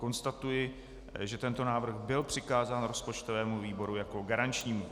Konstatuji, že tento návrh byl přikázán rozpočtovému výboru jako garančnímu.